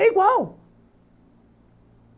É igual.